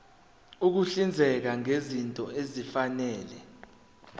ukuhlinzeka ngezinto ezifanele